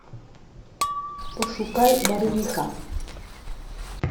пошукай барвиха